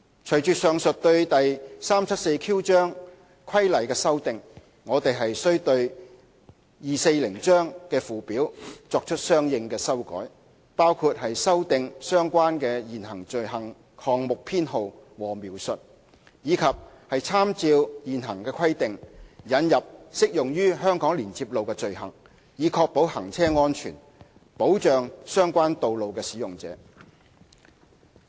隨着上述對第 374Q 章規例的修訂，我們須對第240章的附表作出相應的修改，包括修訂相關的現行罪行項目編號和描述，以及參照現行規定，引入適用於香港連接路的罪行，以確保行車安全，保障相關道路使用者。